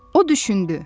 O düşündü.